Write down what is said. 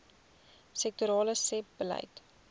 sektorale sebbeleid